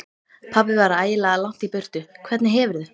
Pabbi var ægilega langt í burtu. Hvernig hefurðu.